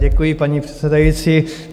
Děkuji, paní předsedající.